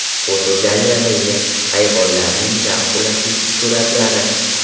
Fotogalereya: Hayvonlarning zavq ulashuvchi suratlari.